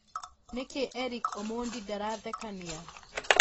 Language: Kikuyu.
nĩkĩeric omondi ndarathekania